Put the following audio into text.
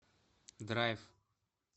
драйв